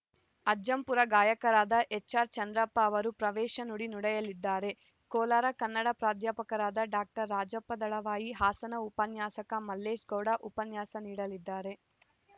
ಅಜ್ಜಂಪುರ ಗಾಯಕರಾದ ಎಚ್‌ಆರ್‌ ಚಂದ್ರಪ್ಪ ಅವರು ಪ್ರವೇಶ ನುಡಿ ನುಡಿಯಲಿದ್ದಾರೆ ಕೋಲಾರ ಕನ್ನಡ ಪ್ರಾಧ್ಯಾಪಕರಾದ ಡಾಕ್ಟರ್ ರಾಜಪ್ಪ ದಳವಾಯಿ ಹಾಸನ ಉಪನ್ಯಾಸಕ ಮಲ್ಲೇಶಗೌಡ ಉಪನ್ಯಾಸ ನೀಡಲಿದ್ದಾರೆ